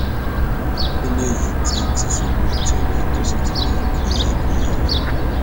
nínú èyí ni tìṣubù ti wẹ tó sì ti yan kàìnínkànín